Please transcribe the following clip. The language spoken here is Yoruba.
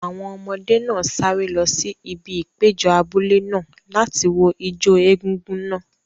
Àwọn ọmọdé náà sáré lọ sí ibi ìpéjọ abúlé náà láti wo ijó egúngún náà.